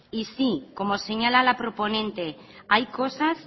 y sí como señala la proponente hay cosas